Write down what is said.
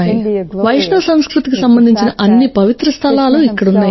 వైష్ణవ సంస్కృతికి సంబంధించిన అన్ని పవిత్ర స్థలాలు ఇక్కడ ఉన్నాయి